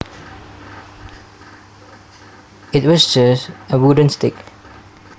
It was just a wooden stick